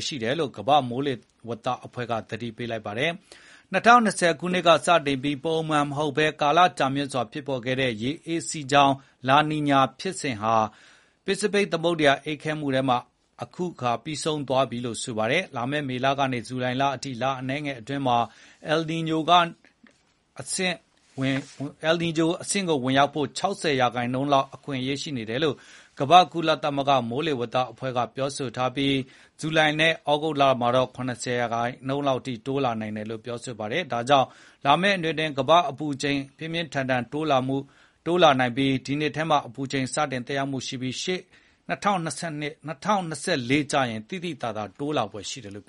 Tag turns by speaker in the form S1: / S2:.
S1: ရှိနေတယ်လို့ ကမ္ဘာ့မိုးလေဝသအဖွဲ့က သတိပေးလိုက်ပါတယ်။ ၂၀၂၀ က စတင်ခဲ့ပြီး ထုံးစံမဟုတ်ဘဲ ကာလကြာမြင့်ဖြစ်ပေါ်ခဲ့တဲ့ အယ်နီညိုရဲ့ ပြောင်းပြန် လာနီညာဖြစ်စဉ် ပစိဖိတ်သမုဒ္ဒရာ အေးခဲမှုက အခု လုံးဝ ပြီးဆုံးသွားပြီ ဆိုပါတယ်။ “လာမယ့် မေလကနေ ဇူလိုင်လအထိ လအနည်းငယ်အတွင်းမှာ အယ်နီညိုအဆင့်ကိုဝင်ဖို့ ၆၀ ရာခိုင်နှုန်းလောက် အခွင့်အရေးရှိနေတယ်” လို့ ကမ္ဘာ့မိုးလေဝသအဖွဲ့က ဆိုပြီး ဒီဖြစ်နိုင်ခြေက ဇူလိုင်လကနေ သြဂုတ်လအတွင်း ၇၀ ရာခိုင်နှုန်းအထိ တိုးလာပြီး ဩဂုတ်လကုန်ရင် ၈၀ ရာခိုင်နှုန်းအထိ တိုးလာမယ်” ပြောပါတယ်။ ဒါကြောင့် လာမယ့် ၂ နှစ်အတွင်း ကမ္ဘာ့အပူချိန် ပြင်းပြင်းထန်ထန် တိုးလာဖို့ ရှိနေပါတယ်။ ဒီနှစ်ထဲမှာ အပူချိန် စတင်သက်ရောက်ပြီး ရှေ့နှစ် ၂၀၂၄ ကျရင် ပိုပြီး သိသိသာသာ တိုး
S2: လာဖွယ် ရှိပါတယ်။